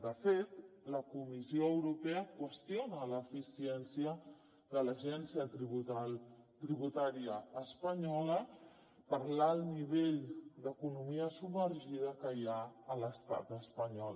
de fet la comissió europea qüestiona l’eficiència de l’agència tributària espanyola per l’alt nivell d’economia submergida que hi ha a l’estat espanyol